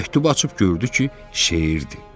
Məktubu açıb gördü ki, şeirdir.